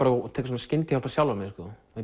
tek svona skyndihjálp á sjálfan mig